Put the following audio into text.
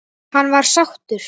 Hann var sáttur.